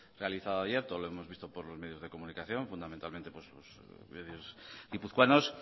realizado ayer todos lo hemos visto por los medios de comunicación fundamentalmente por medios guipuzcoanos